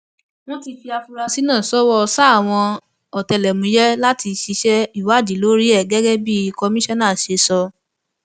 wọn ti fi àfúrásì náà ṣọwọ sáwọn ọtẹlẹmúyẹ láti ṣiṣẹ ìwádìí lórí ẹ gẹgẹ bí kọmíṣánná ṣe sọ